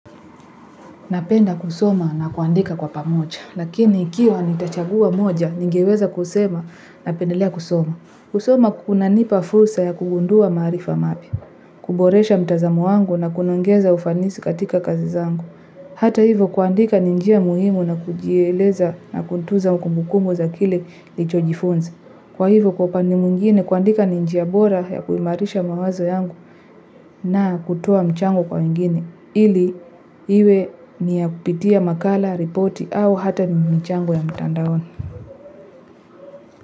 Napenda kusoma na kuandika kwa pamoja, lakini ikiwa nitachagua moja, nigeweza kusema napendelea kusoma. Kusoma kuna nipa fursa ya kugundua marifa mapya, kuboresha mtazamo wangu na kuniongeza ufanisi katika kazi zangu. Hata hivo kuandika ninjia muhimu na kujieleza na kuntuza mkumbukumu za kile nilichojifunza. Kwa hivyo kwaupande mwingine kuandika ni njia bora ya kuimarisha mawazo yangu na kutoa mchango kwa wengine. Ili iwe niya kupitia makala, ripoti au hata mimijangwe ya mtandaon.